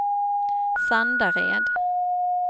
Sandared